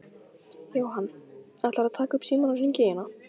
Jóhann: Ætlarðu að taka upp símann og hringja í hana?